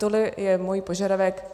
To je můj požadavek.